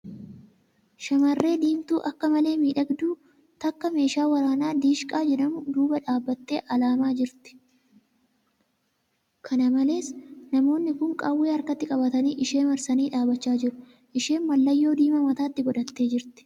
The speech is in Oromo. Shamarree diimtuu akka malee miidhagduun takka meeshaa waraanaa 'Diishqaa ' jedhamu duuba dhaabbattee alaamaa jirti. Kana malees, namoonni kuun qawwee harkatti qabatanii ishee marsanii dhaabbachaa jiru. Isheen mallayyoo diimaa mataatti godhattee jirti.